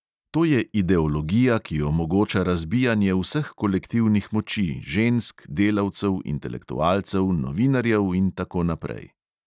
To je ideologija, ki omogoča razbijanje vseh kolektivnih moči, žensk, delavcev, intelektualcev, novinarjev in tako naprej.